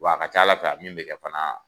Wa a ka ca ala fɛ a min be kɛ fana